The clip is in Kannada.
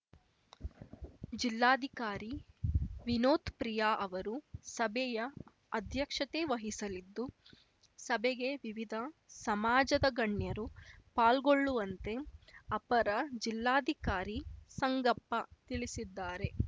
ಜಿಲ್ಲಾಧಿಕಾರಿ ವಿನೋತ್‌ ಪ್ರಿಯಾ ಅವರು ಸಭೆಯ ಅಧ್ಯಕ್ಷತೆ ವಹಿಸಲಿದ್ದು ಸಭೆಗೆ ವಿವಿಧ ಸಮಾಜದ ಗಣ್ಯರು ಪಾಲ್ಗೊಳ್ಳುವಂತೆ ಅಪರ ಜಿಲ್ಲಾ ಧಿಕಾರಿ ಸಂಗಪ್ಪ ತಿಳಿಸಿದ್ದಾರೆ